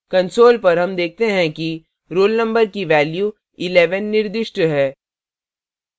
console पर हम देखते हैं कि roll number की value 11 निर्दिष्ट है